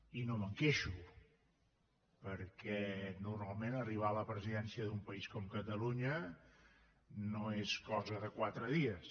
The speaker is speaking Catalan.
i no me’n queixo perquè normalment arribar a la presidència d’un país com catalunya no és cosa de quatre dies